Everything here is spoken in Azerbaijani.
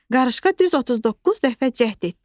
Qarışqa düz 39 dəfə cəhd etdi.